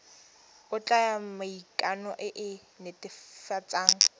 ya maikano e e netefatsang